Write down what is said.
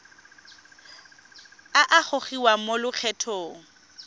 a a gogiwang mo lokgethong